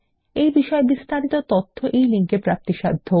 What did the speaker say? এই বিষয় বিস্তারিত তথ্য এই লিঙ্ক এ প্রাপ্তিসাধ্য